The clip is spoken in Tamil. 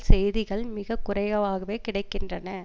செய்திகள் மிக குறைவாகவே கிடை கின்றன